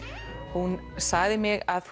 hún sagði mér að